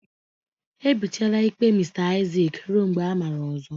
Ebichiela ikpe Mr Isaac ruo mgbe amara ọzọ.